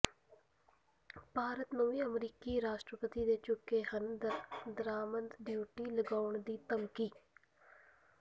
ਭਾਰਤ ਨੂੰ ਵੀ ਅਮਰੀਕੀ ਰਾਸ਼ਟਰਪਤੀ ਦੇ ਚੁੱਕੇ ਹਨ ਦਰਾਮਦ ਡਿਊਟੀ ਲਗਾਉਣ ਦੀ ਧਮਕੀ